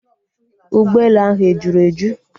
Ụgbọelu ahụ ejuru eju?